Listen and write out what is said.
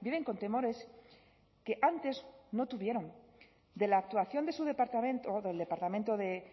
viven con temores que antes no tuvieron de la actuación de su departamento del departamento de